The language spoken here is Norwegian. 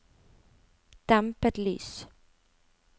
dempet lys